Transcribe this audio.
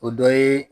O dɔ ye